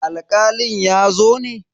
Alkalin ya zo ne?